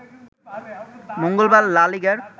মঙ্গলবার লা লিগার